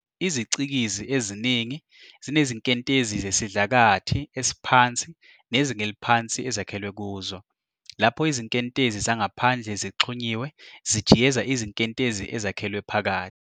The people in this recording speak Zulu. Izicikizi eziningi zinezinkentezi zesidlakathi esiphansi nezinga eliphansi ezakhelwe kuzo, lapho izinkentezi zangaphandle zixhunyiwe zijiyeza izinkentezi ezakhelwe phakathi.